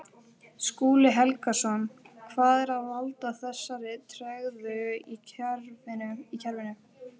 Skúli Helgason: Hvað er að valda þessari tregðu í kerfinu?